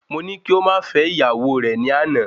Mo ní kí o ma fẹ ìyàwó re ni àná